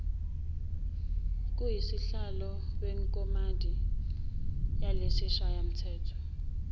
kusihlalo wekomidi lesishayamthetho